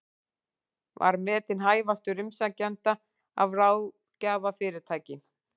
Var metinn hæfastur umsækjenda af ráðgjafarfyrirtæki